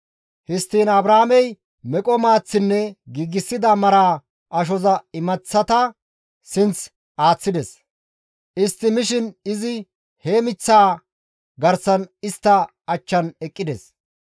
Histtiin Abrahaamey meqo maaththinne giigsida maraa ashoza imaththata sinth aaththides; istti mishin izi he miththaa garsan istta achchan eqqides.